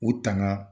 U tanan